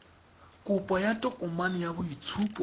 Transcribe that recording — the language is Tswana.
kopo ya tokomane ya boitshupo